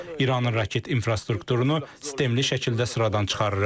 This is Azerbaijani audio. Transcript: İranın raket infrastrukturunu sistemli şəkildə sıradan çıxarırıq.